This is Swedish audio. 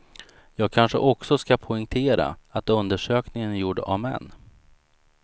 Jag kanske också ska poängtera att undersökningen är gjord av män.